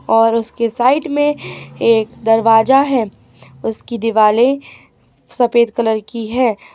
और उसके साइड में में एक दरवाजा है उसकी दिवाले सफेद कलर की हैं।